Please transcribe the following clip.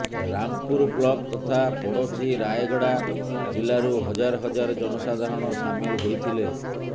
Rampur block ତଥା ପଡ଼ୋଶୀ ରାୟଗଡ଼ା ଜିଲ୍ଲାରୁ ହଜାର ହଜାର ଜନସାଧାରଣ ସାମିଲ ହୋଇଥିଲେ